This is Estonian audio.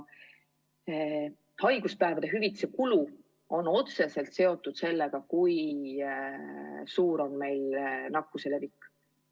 Haiguspäevade hüvitise kulu on otseselt seotud sellega, kui suur on nakkuse levik.